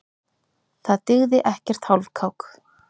Það dygði ekkert hálfkák.